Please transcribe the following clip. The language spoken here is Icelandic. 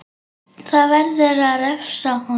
Það verður að refsa honum!